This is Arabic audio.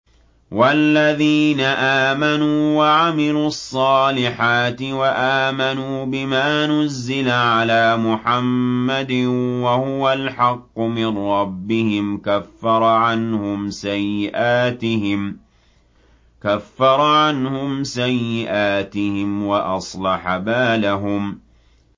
وَالَّذِينَ آمَنُوا وَعَمِلُوا الصَّالِحَاتِ وَآمَنُوا بِمَا نُزِّلَ عَلَىٰ مُحَمَّدٍ وَهُوَ الْحَقُّ مِن رَّبِّهِمْ ۙ كَفَّرَ عَنْهُمْ سَيِّئَاتِهِمْ وَأَصْلَحَ بَالَهُمْ